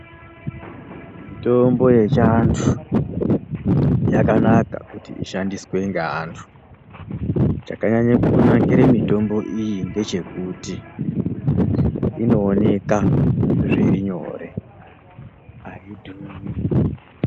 Mitombo yechiantu, yakanaka kuti ishandiswe ngeantu. Chakanyanye kunakire mitombo iyi ndechekuti, inooneka zvirinyore, haidhuri.